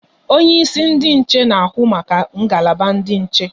Onye isi ndị nche na ahụ maka ngalaba ndị nche